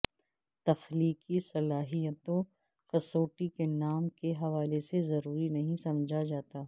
تخلیقی صلاحیتوں کسوٹی کے نام کے حوالے سے ضروری نہیں سمجھا جاتا